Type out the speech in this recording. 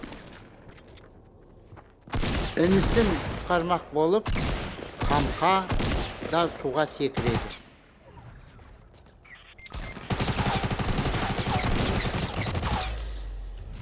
інісін құтқармақ болып қамқа да суға секіреді